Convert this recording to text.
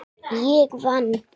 Ég vann.